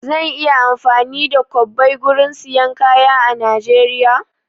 Zan iya amfani da kwabbai gurin siyan kaya a Najeriya?